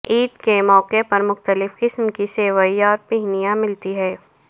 عید کے موقعے پر مختلف قسم کی سوئیاں اور پھینیاں ملتی ہیں